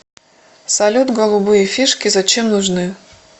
салют голубые фишки зачем нужны